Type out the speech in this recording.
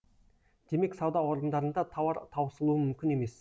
демек сауда орындарында тауар таусылуы мүмкін емес